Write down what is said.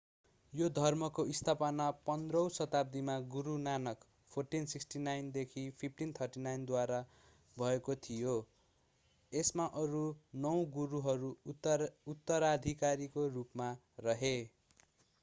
यो धर्मको स्थापना 15 औँ शताब्दीमा गुरू नानक 1469–1539 द्वारा भएको थियो। यसमा अरू नौ गुरूहरू उत्तराधिकारको रूपमा रहे।